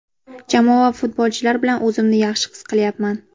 Jamoa va futbolchilar bilan o‘zimni yaxshi his qilyapman.